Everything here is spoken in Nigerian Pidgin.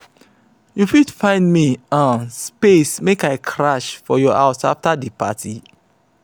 you go help me hire generator come in in case dem take light.